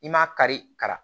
I m'a kari ka na